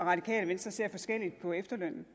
radikale venstre ser forskelligt på efterlønnen